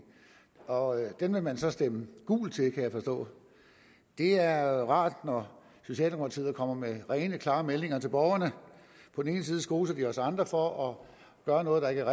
og den vil man så stemme gult til kan jeg forstå det er rart når socialdemokratiet kommer med rene klare meldinger til borgerne på den ene side skoser de os andre for at gøre noget der ikke